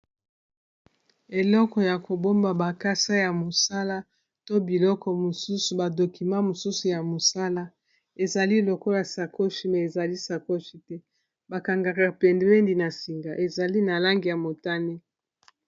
Eleko ya kobomba bakasa ya mosala to biloko mosusu ba documa mosusu ya mosala ezali lokola sakoshi me ezali sakoshi te bakanga pembeni na singa ezali na langi ya motane.